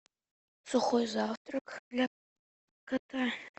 сухой завтрак для кота